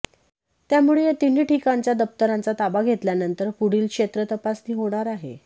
त्यामुळे या तीन्ही ठिकाणच्या दप्तरांचा ताबा घेतल्यानंतर पुढील क्षेत्रतपासणी होणार आहे